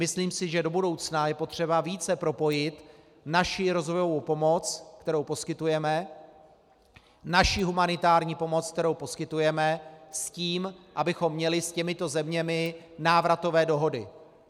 Myslím si, že do budoucna je potřeba více propojit naši rozvojovou pomoc, kterou poskytujeme, naši humanitární pomoc, kterou poskytujeme, s tím, abychom měli s těmito zeměmi návratové dohody.